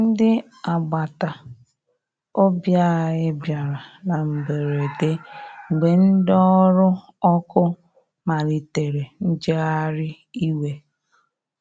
Ndi agbata ọbì anya bìara na mgberede, mgbe ndi ọrụ ọkụ malitere njegharị iwe.